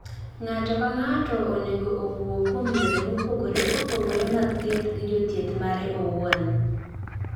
Ng�ato ka ng�ato onego owuo kuom yore mopogore opogore mag thieth gi jothieth mare owuon.